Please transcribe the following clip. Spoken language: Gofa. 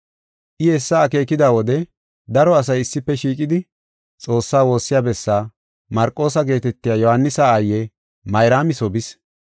I hessa akeekida wode daro asay issife shiiqidi Xoossaa woossiya bessaa, Marqoosa geetetiya Yohaanisa aaye Mayraami soo bis.